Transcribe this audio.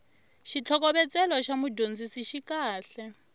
xitlhokovetselo xa mudyondzisi xi kahle